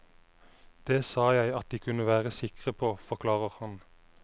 Det sa jeg at de kunne være sikre på, forklarer han.